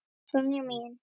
Sonja mín.